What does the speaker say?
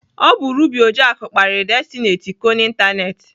Ọ bụ Ruby Ojiako kparịrị Destiny Etiko n'ịntanetị.